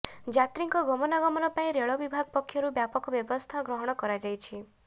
ଯାତ୍ରୀଙ୍କ ଗମନାଗମନ ପାଇଁ ରେଳବିଭାଗ ପକ୍ଷରୁ ବ୍ୟାପକ ବ୍ୟବସ୍ଥା ଗ୍ରହଣ କରାଯାଇଛି